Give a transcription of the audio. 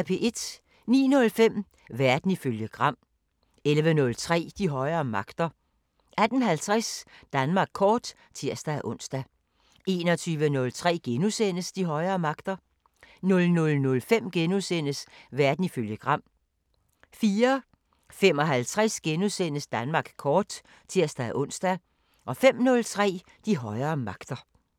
09:05: Verden ifølge Gram 11:03: De højere magter 18:50: Danmark kort (tir-ons) 21:03: De højere magter * 00:05: Verden ifølge Gram * 04:55: Danmark kort *(tir-ons) 05:03: De højere magter